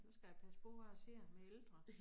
Nu skal jeg passe på hvad jeg siger med ældre